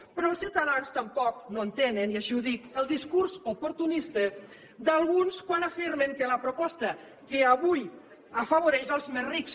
però els ciutadans tampoc no entenen i així ho dic el discurs oportunista d’alguns quan afirmen que la proposta avui afavoreix els més rics